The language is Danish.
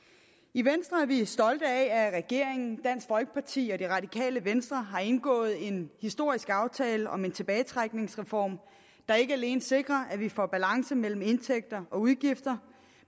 i venstre er vi stolte af at regeringen dansk folkeparti og det radikale venstre har indgået en historisk aftale om en tilbagetrækningsreform der ikke alene sikrer at vi får balance mellem indtægter og udgifter